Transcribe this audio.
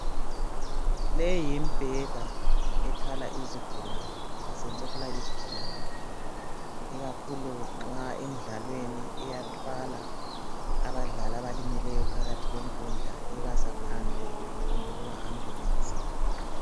Leyimbheda ethwala izigulane basebenzisa ukuthwala izigulane ikakhulu nxa emdlalweni iyathwala abadlali abalimeleyo phakathi kwenkundla iyabasa phandle kumbe kuma ambulensi